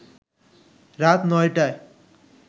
রাত ৯টায়